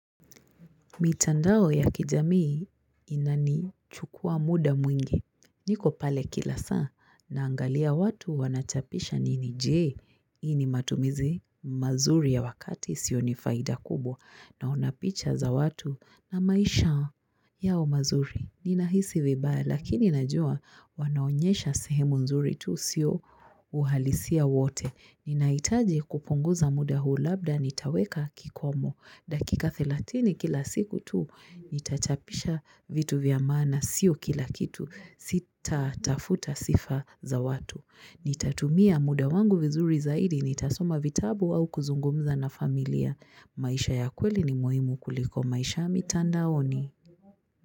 Mitandao ya kijamii inani chukua muda mwingi. Niko pale kila saa naangalia watu wanachapisha nini je. hIi ni matumizi mazuri ya wakati sio nifaida kubwa. Naonapicha za watu na maisha yao mazuri. Nina hisi vibaya lakini najua wanaonyesha sehemu nzuri tu sio uhalisia wote. Ninahitaji kupunguza muda huu labda nitaweka kikomo. Dakika 30 kila siku tu, nitachapisha vitu vyamaana sio kila kitu, sita tafuta sifa za watu. Nitatumia muda wangu vizuri zaidi, nitasoma vitabu au kuzungumza na familia. Maisha ya kweli ni muhimu kuliko maisha ya mitandaoni.